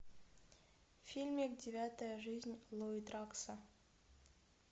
фильм девятая жизнь луи дракса